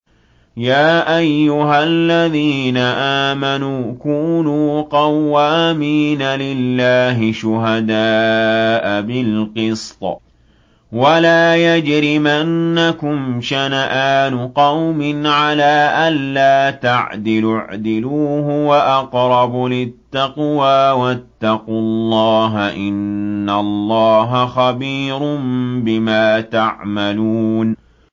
يَا أَيُّهَا الَّذِينَ آمَنُوا كُونُوا قَوَّامِينَ لِلَّهِ شُهَدَاءَ بِالْقِسْطِ ۖ وَلَا يَجْرِمَنَّكُمْ شَنَآنُ قَوْمٍ عَلَىٰ أَلَّا تَعْدِلُوا ۚ اعْدِلُوا هُوَ أَقْرَبُ لِلتَّقْوَىٰ ۖ وَاتَّقُوا اللَّهَ ۚ إِنَّ اللَّهَ خَبِيرٌ بِمَا تَعْمَلُونَ